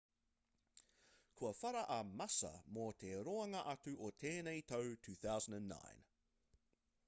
kua whara a massa mō te roanga atu o tēnei tau 2009